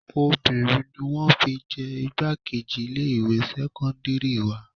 Obìnrin ni wọn fi jẹ igbákejì ilé ìwé sẹ́kọ́ńdírì wa.